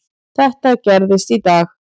Þetta gerðist í dag.